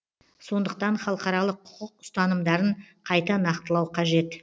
сондықтан халықаралық құқық ұстанымдарын қайта нақтылау қажет